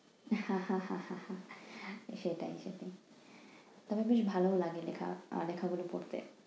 হা হা হা হা হা সেটাই সেটাই তবে ভালো লাগে লেখা~ লেখাগুলো পড়তে।